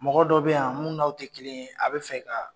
Mɔgɔ dɔ bɛ yan mun n'aw tɛ kelen ye, a bɛ fɛ ka